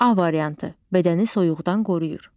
A variantı: Bədəni soyuqdan qoruyur.